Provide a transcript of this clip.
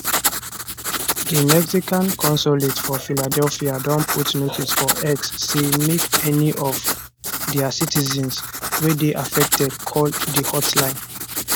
di mexican consulate for philadelphia don put notice for x say make any of dia citizens wey dey affected call di hotline